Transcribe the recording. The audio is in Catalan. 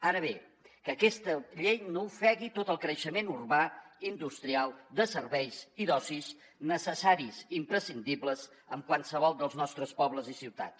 ara bé que aquesta llei no ofegui tot el creixement urbà industrial de serveis i d’oci necessaris imprescindibles en qualsevol dels nostres pobles i ciutats